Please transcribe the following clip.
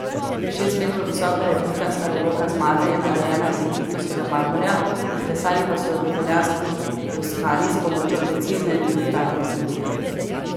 Šest metrov visoka replika slavoloka zmage je narejena iz egiptovskega marmorja, izklesali pa so jo v italijanski Toskani s pomočjo precizne digitalne tehnologije.